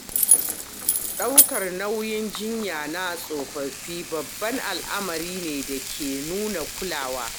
Ɗaukar nauyin jinya na tsofaffi babban al’amari ne da ke nuna kulawa.